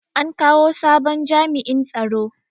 An kawo sabon jami'in tsaro.